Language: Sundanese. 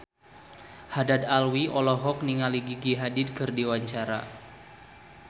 Haddad Alwi olohok ningali Gigi Hadid keur diwawancara